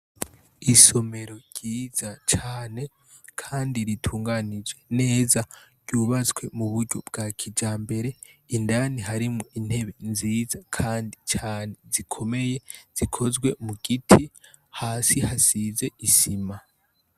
isomero ryiza cyane kandi ritunganijwe neza ryubatswe mu buryo bwa kija mbere indani harimo intebe nziza kandi cyane zikomeye zikozwe mu giti hasi hasize isima